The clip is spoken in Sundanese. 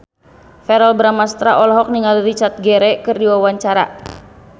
Verrell Bramastra olohok ningali Richard Gere keur diwawancara